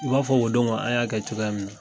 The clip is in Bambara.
U b'a fɔ o don ŋo an y'a kɛ cogoya min na